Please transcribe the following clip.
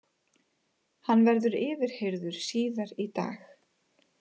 Hann verður yfirheyrður síðar í dag